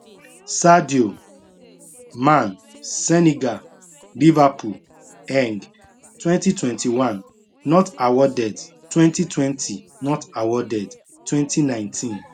sadio man senegal liverpool eng 2021 not awarded 2020 not awarded 2019